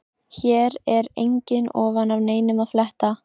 Hér er engu ofan af neinum að fletta.